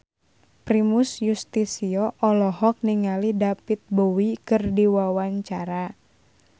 Primus Yustisio olohok ningali David Bowie keur diwawancara